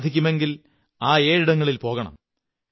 സാധിക്കുമെങ്കിൽ ആ ഏഴിടങ്ങളിൽ പോകണം